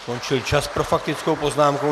Skončil čas pro faktickou poznámku.